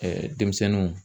denmisɛnninw.